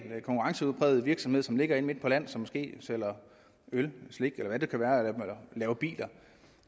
konkurrencepræget virksomhed som ligger inde midt på land som måske sælger øl slik eller laver biler